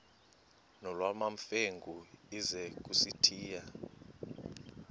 nolwamamfengu ize kusitiya